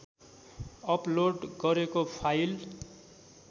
upload गरेको file